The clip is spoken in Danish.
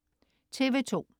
TV2: